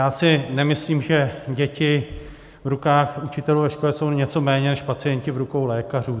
Já si nemyslím, že děti v rukou učitelů ve škole jsou něco méně než pacienti v rukou lékařů.